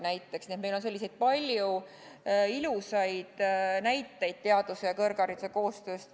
Nii et meil on palju selliseid ilusaid näiteid teaduse ja kõrghariduse koostööst.